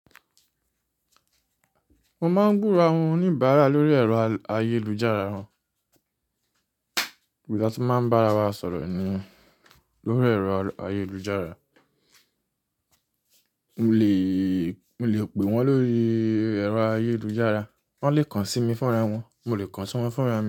Mo máa ń búra wọn oníbàárà lórí ẹ̀rọ ayélujára wọn. Ibi ta ti máa ń bá ra wa sọ̀rọ̀ ni lórí ẹ̀rọ ayélujára, mo lè, mo lè pè wọ́n lórí ẹ̀rọ ayélujára. Wọ́n lè kàn sí mi fúnra wọn, mo lè kàn sí wọn fúnra mi.